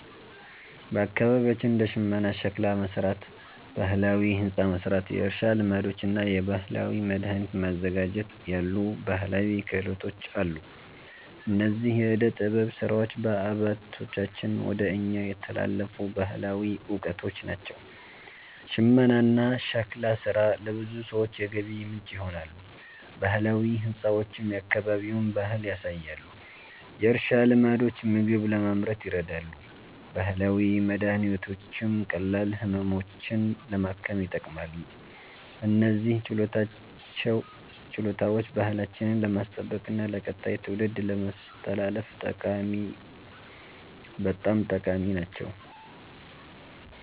በአካባቢያችን እንደ ሽመና፣ ሸክላ መሥራት፣ ባህላዊ ሕንፃ መሥራት፣ የእርሻ ልማዶች እና የባህላዊ መድኃኒት ማዘጋጀት ያሉ ባህላዊ ክህሎቶች አሉ። እነዚህ የዕደ ጥበብ ሥራዎች ከአባቶቻችን ወደ እኛ የተላለፉ ባህላዊ እውቀቶች ናቸው። ሽመናና ሸክላ ሥራ ለብዙ ሰዎች የገቢ ምንጭ ይሆናሉ፣ ባህላዊ ሕንፃዎችም የአካባቢውን ባህል ያሳያሉ። የእርሻ ልማዶች ምግብ ለማምረት ይረዳሉ፣ ባህላዊ መድኃኒቶችም ቀላል ህመሞችን ለማከም ይጠቅማሉ። እነዚህ ችሎታዎች ባህላችንን ለማስጠበቅና ለቀጣይ ትውልድ ለማስተላለፍ በጣም ጠቃሚ ናቸው።